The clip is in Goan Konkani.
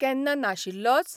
केन्ना नाशिल्लोच?